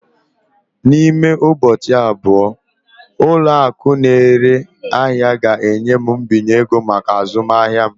N'ime ụbọchị abụọ, ụlọ akụ na-ere ahịa ga-enye m mbinye ego maka azụmahịa m.